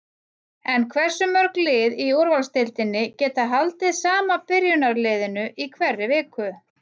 En hversu mörg lið í úrvalsdeildinni geta haldið sama byrjunarliðinu í hverri viku?